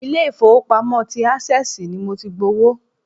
Ilé-ifowopamo ti access ni mo ti gbowó.